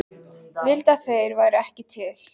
Ég vildi að þeir væru ekki til.